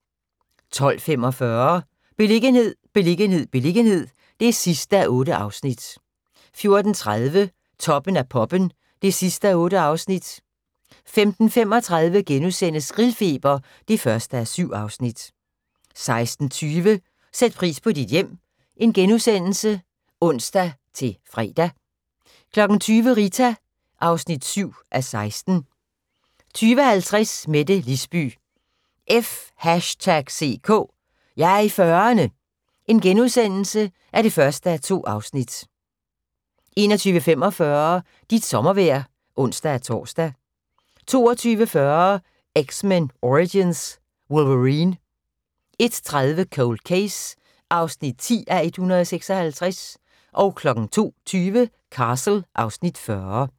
12:45: Beliggenhed, beliggenhed, beliggenhed (8:8) 14:30: Toppen af poppen (8:8) 15:35: Grillfeber (1:7)* 16:20: Sæt pris på dit hjem *(ons-fre) 20:00: Rita (7:16) 20:50: Mette Lisby – F#ck! Jeg er i 40'erne (1:2)* 21:45: Dit sommervejr (ons-tor) 22:40: X-Men Origins: Wolverine 01:30: Cold Case (10:156) 02:20: Castle (Afs. 40)